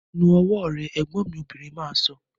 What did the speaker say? Nu ọwọ́ rẹ! Ẹ̀gbọ́n mi obìnrin máa sọ